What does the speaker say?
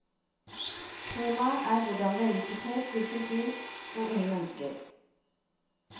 Temaet er hvordan vellykkethet virker inn på unge mennesker.